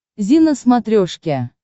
зи на смотрешке